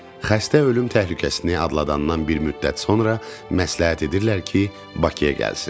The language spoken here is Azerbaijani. Xəstə ölüm təhlükəsini adladandan bir müddət sonra məsləhət edirlər ki, Bakıya gəlsin.